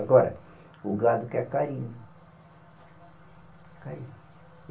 Agora, o gado quer carinho.